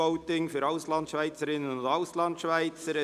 ]: E-Voting für Auslandschweizerinnen und Auslandschweizer.